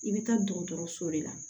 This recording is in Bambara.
I bɛ taa dɔgɔtɔrɔso de la